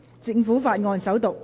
政府法案：首讀。